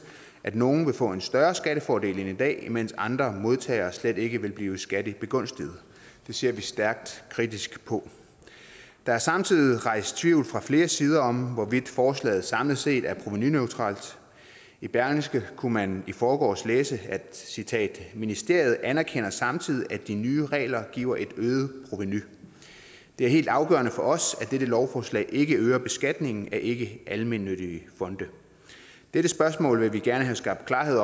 at nogle vil få en større skattefordel end i dag mens andre modtagere slet ikke vil blive skattebegunstiget det ser vi stærkt kritisk på der er samtidig rejst tvivl fra flere sider om hvorvidt forslaget samlet set er provenuneutralt i berlingske kunne man i forgårs læse at citat ministeriet anerkender samtidig at de nye regler giver et øget provenu det er helt afgørende for os at dette lovforslag ikke øger beskatningen af ikkealmennyttige fonde dette spørgsmål vil vi gerne have skabt klarhed